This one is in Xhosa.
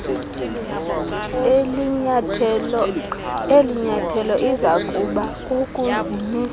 elinyathelo izakuba kukuzimisela